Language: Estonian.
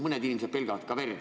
Mõned inimesed pelgavad ka verd.